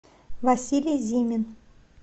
василий зимин